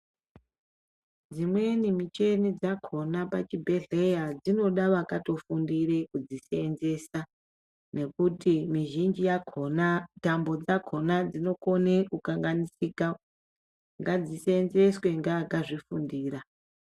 Dzimweni micheni dzakhona pachibhedhlera dzinoda vakatofundire kudziseenzesa nekuti mizhinji yakhona ,tambo dzakhona dzinokone kukanganisika. Ngadziseenzeswe ngeakadzifundira.